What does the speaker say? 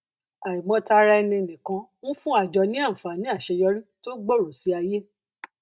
àìmọtaraẹninìkan ń fún àjọ ní àǹfààní àṣeyọrí tó gbooro sí ayé